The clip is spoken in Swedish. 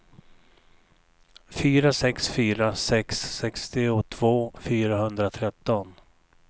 fyra sex fyra sex sextiotvå fyrahundratretton